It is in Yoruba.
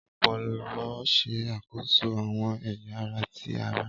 Ọpọlọ ṣe akoso awọn ẹya ara ti ara